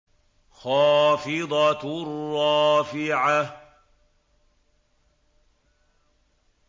خَافِضَةٌ رَّافِعَةٌ